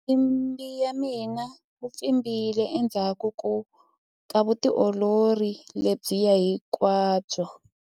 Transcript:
mpfimbi wa mina wu pfimbile endzhaku ka vutiolori lebyiya hinkwabyo